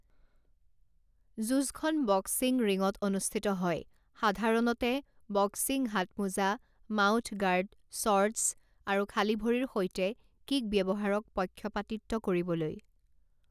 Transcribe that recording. যুঁজখন বক্সিং ৰিংত অনুষ্ঠিত হয়, সাধাৰণতে, বক্সিং হাতমোজা, মাউথ গাৰ্ড, শ্বৰ্টচ, আৰু খালী ভৰিৰ সৈতে কিক ব্যৱহাৰক পক্ষপাতিত্ব কৰিবলৈ।